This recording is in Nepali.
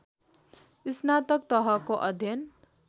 स्नातक तहको अध्ययन